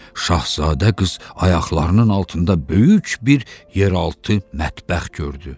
Şahzadə qız ayaqlarının altında böyük bir yeraltı mətbəx gördü.